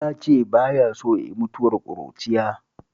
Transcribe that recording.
Ya ce ba ya so ya yi mutuwar ƙuruciya